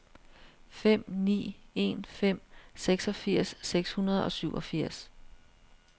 fem ni en fem seksogfirs seks hundrede og syvogfirs